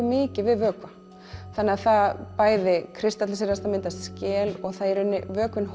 mikið við vökva það kristallast og myndar skel vökvinn